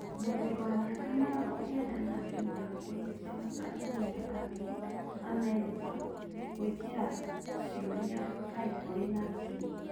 Mũthuri wa mĩaka mĩrongo kenda na inya kũhikia atũmia angĩ amerika gũĩkĩra ciũria kaĩ kũrĩ na kĩ?